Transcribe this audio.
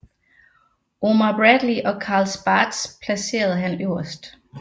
Omar Bradley og Carl Spaatz placerede han øverst